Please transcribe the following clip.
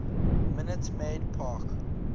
minute maid park